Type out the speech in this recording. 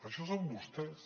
això són vostès